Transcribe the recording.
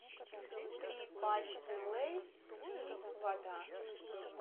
три пачки лейс и вода